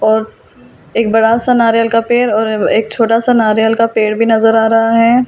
और एक बड़ा सा नारियल का पेड़ और एब एक छोटा-सा नारियल का पेड़ भी नजर आ रहा है ।